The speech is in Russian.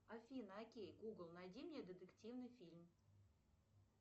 афина окей гугл найди мне детективный фильм